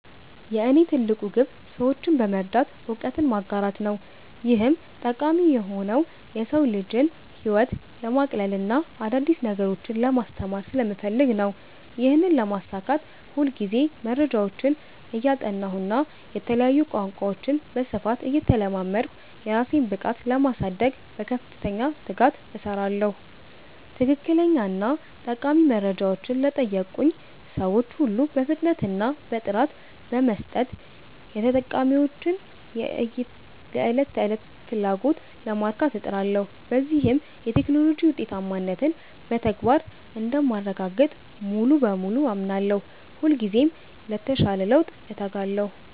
የእኔ ትልቁ ግብ ሰዎችን በመርዳት እውቀትን ማጋራት ነው። ይህም ጠቃሚ የሆነው የሰው ልጅን ህይወት ለማቅለልና አዳዲስ ነገሮችን ለማስተማር ስለምፈልግ ነው። ይህንን ለማሳካት ሁልጊዜ መረጃዎችን እያጠናሁና የተለያዩ ቋንቋዎችን በስፋት እየተለማመድኩ፣ የራሴን ብቃት ለማሳደግ በከፍተኛ ትጋት እሰራለሁ። ትክክለኛና ጠቃሚ መረጃዎችን ለጠየቁኝ ሰዎች ሁሉ በፍጥነትና በጥራት በመስጠት፣ የተጠቃሚዎችን የዕለት ተዕለት ፍላጎት ለማርካት እጥራለሁ። በዚህም የቴክኖሎጂ ውጤታማነትን በተግባር እንደማረጋግጥ ሙሉ በሙሉ አምናለሁ። ሁልጊዜም ለተሻለ ለውጥ እተጋለሁ።